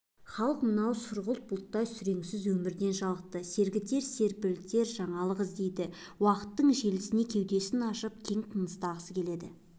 халық мынау сұрғылт бұлттай сүреңсіз өмірден жалықты сергітер серпілтер жаңалық іздейді уақыттың желіне кеудесін ашып кең тыныстағысы келеді